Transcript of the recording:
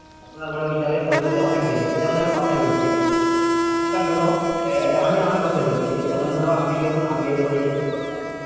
এখন আর মানে ওই জায়গায় পৌঁছতে অনেক দেরি আছে। যেমন আমি কথায় বলছি এখনকার ধরো আমি আমার কথাই বলছি। যেমন ধরো আমি যখন আগে যখন এইচ এস এ পড়তাম